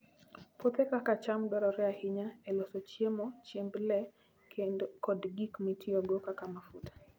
Puothe kaka cham dwarore ahinya e loso chiemo, chiemb le, kod gik mitiyogo kaka mafuta.